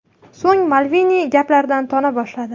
So‘ng Malveni gaplaridan tona boshladi.